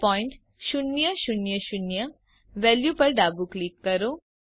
0000 value પર ડાબું click કરો